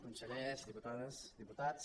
consellers diputades diputats